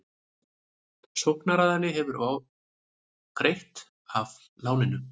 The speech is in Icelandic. Sóknaraðili hefði ofgreitt af láninu